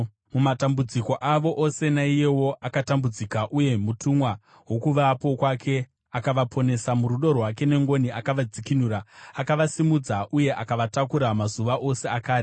Mumatambudziko avo ose naiyewo akatambudzika, uye mutumwa wokuvapo kwake akavaponesa. Murudo rwake nengoni akavadzikinura; akavasimudza uye akavatakura mumazuva ose akare.